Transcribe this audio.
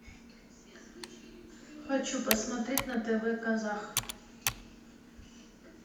хочу посмотреть на тв казах